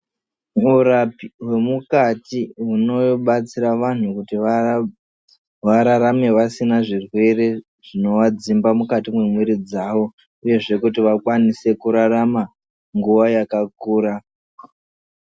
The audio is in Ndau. Murapi wemukati unobatsira vanhu kuti vararame vasina zvirwere zvinovadzimba mukati mwemwiri dzavo uyezve kuti vakwanise kurarama nguva yakakura.